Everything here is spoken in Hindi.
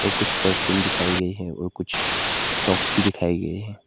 और कुछ परफ्यूम दिखाए गए हैं और कुछ सॉक्स भी दिखाए गए हैं।